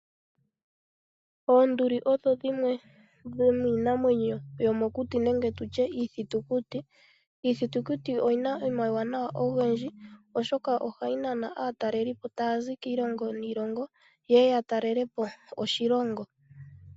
Oonduli odho dhimwe dho miinamwenyo yo mo kuti nenge tulye iithutukuti. Iithutukuti oyina omauwana ogendji oshoka ohayi nana aataleli po taya zi kiilongo niilongo, yeye ya talele po oshilongo.